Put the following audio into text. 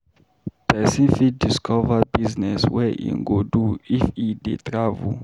Pesin fit discover business wey im go do if e dey travel.